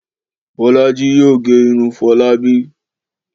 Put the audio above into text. Bọ́lájí yóò gẹ irun Fọlábí.